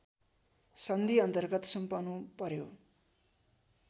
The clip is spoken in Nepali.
सन्धिअन्तर्गत सुम्पनु पर्‍यो